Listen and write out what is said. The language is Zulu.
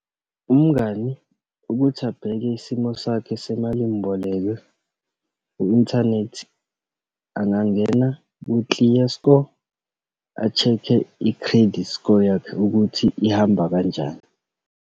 Umngani ukuthi abheke isimo sakhe semalimboleko ku-inthanethi, angangena ku-ClearScore, a-check-e i-credit score yakhe ukuthi ihamba kanjani.